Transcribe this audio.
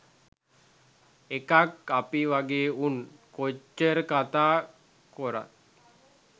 එකක් අපි වගේ උන් කොච්චර කතා කොරත්